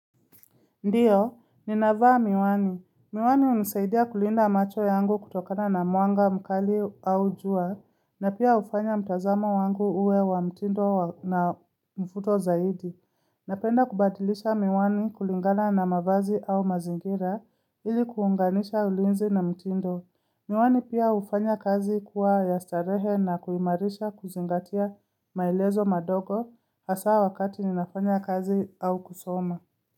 Ndiyo, ninavaa miwani. Miwani unisaidia kulinda macho yangu kutokana na muanga, mukali au jua, na pia ufanya mtazamo wangu uwe wa mtindo na mfuto zaidi. Napenda kubadilisha miwani kulingana na mavazi au mazingira ili kuunganisha ulinzi na mtindo. Miwani pia ufanya kazi kuwa yastarehe na kuimarisha kuzingatia mailezo madogo hasa wakati ninafanya kazi au kusoma.